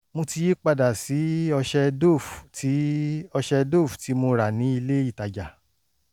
mo ti yí padà sí ọṣẹ dove tí ọṣẹ dove tí mo rà ní ilé-ìtajà